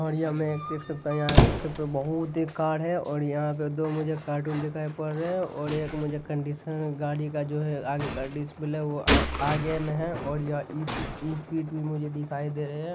और यहाँ मैं देख सकता यहाँ के बहुत कार है और यहाँ पे दो मुझे कार्टून दिखाई पड़ रहे है और एक मुझे कंडीशन गाड़ी का जो है आगे का डिस्प्ले वो आ आगे में है और यह इट इत वीट भी मुझे दिखाई दे रहे है।